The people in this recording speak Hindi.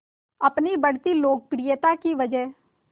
अपनी बढ़ती लोकप्रियता की वजह